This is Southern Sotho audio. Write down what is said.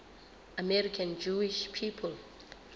american jewish people